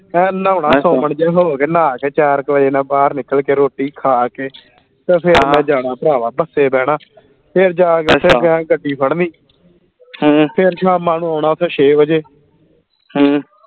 ਏਂ ਨਹਾਉਣਾ ਜੇ ਹੋ ਕੇ ਨਹਾ ਕੇ ਚਾਰ ਕੇ ਵਜੇ ਨਾਲ ਬਾਹਰ ਨਿਕਲ ਕੇ ਰੋਟੀ ਖਾ ਕੇ ਤੇ ਫੇਰ ਮੈਂ ਜਾਣਾ ਭਰਾਵਾ ਬੱਸੇ ਬਹਿਣਾ ਫੇਰ ਜਾ ਕੇ ਗੱਡੀ ਫੜਨੀ ਫੇਰ ਸ਼ਾਮਾਂ ਨੂੰ ਆਉਣਾ ਫੇਰ ਛੇ ਵਜੇ